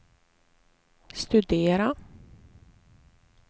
studera